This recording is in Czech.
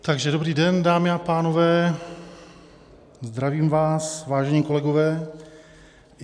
Takže dobrý den, dámy a pánové, zdravím vás, vážení kolegové.